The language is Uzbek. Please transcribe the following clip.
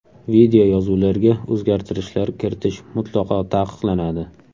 Videoyozuvlarga o‘zgartishlar kiritish mutlaqo taqiqlanadi.